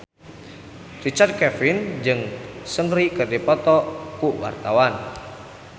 Richard Kevin jeung Seungri keur dipoto ku wartawan